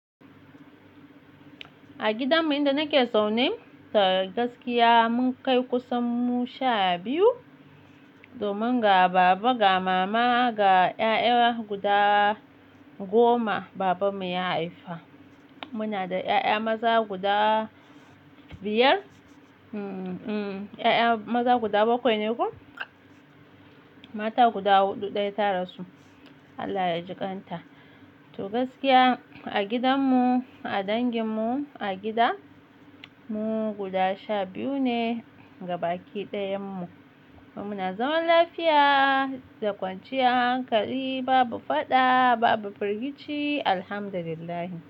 A gidanmu inda nake zaune, to gaskiya mun kai kusan mu sha biyu. Domin ga baba, ga mama, ga 'ya'ya guda goma babanmu ya haifa. Muna da 'ya'ya maza guda biyar, mm-mm 'ya'ya maza guda bakwai ne ko? Mata guda huɗu, ɗaya ta rasu, Allah ya jikan ta. To gaskiya a gidanmu, a danginmu, a gida, mu guda sha biyu ne, gabaki ɗayan mu. Kuma muna zaman lafiya da kwanciyar hankali, babu faɗa, babu firgici, Alhamdulillah.